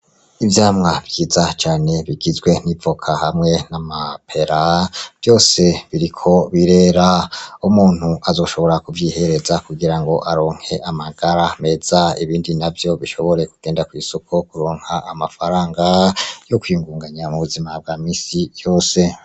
Ivyamwa vyiza cane bigizwe n'ivoka hamwe n'amapera vyose biriko birera umuntu azoshobora kuvyihereza kugirango aronke amagara meza, ibindi navyo bishobore kugenda kwisoko kuronka amafaranga yo kwiyungunganya mu buzima bwa minsi yose.